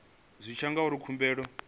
zwi tshi ya ngauri khumbelo